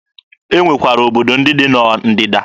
E nwekwara obodo ndị dị na Ndịda.